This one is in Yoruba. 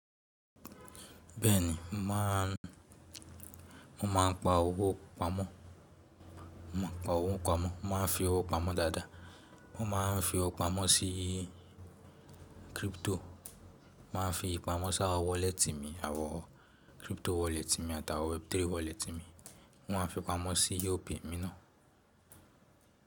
Bẹ́ẹ̀ni, mo máa ń, mo máa ń pa owó pamọ́, mo máa ń pa owó pamọ́, mo máa ń fi owó pamọ́ dáadáa, mo máa ń fi owó pamọ́ sií crypto, mo máa ń fi pamọ́ sáwọ́n wallet mi àwọn crypto wallet mi àt'àwọn web3 wallet mi, mo máa ń fi pamọ́ sí Opay mi náà.